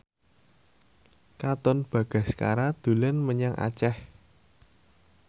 Katon Bagaskara dolan menyang Aceh